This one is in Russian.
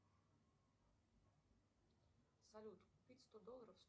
салют купить сто долларов